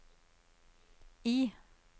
I